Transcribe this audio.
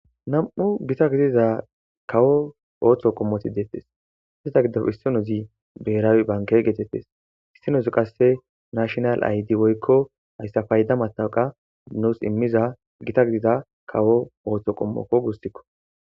Nam'u gita gidiza kawo ooso gidope issinozi biherawe banke geetetes issinozi kase nashinal Id woyko haysa payda matawuka nus imiza gita gita kawo ooso qomoko guusiko.